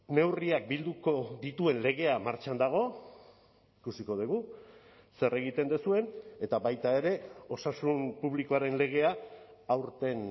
neurriak bilduko dituen legea martxan dago ikusiko dugu zer egiten duzuen eta baita ere osasun publikoaren legea aurten